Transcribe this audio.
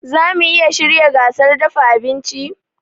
Zamu iya shirya gasar dafa abinci?